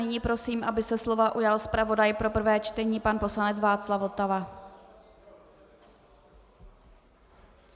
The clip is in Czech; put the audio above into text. Nyní prosím, aby se slova ujal zpravodaj pro prvé čtení pan poslanec Václav Votava.